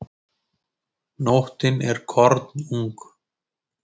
Nóttin er kornung.